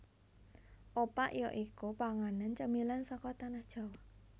Opak ya iku panganan cemilan saka Tanah Jawa